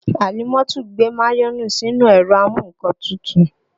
Àlímọ́tù gbé mayonẹ sí inú ẹ̀rọ a mú nǹkan tutù